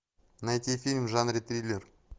найти фильм в жанре триллер